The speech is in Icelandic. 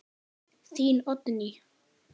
Þín Oddný.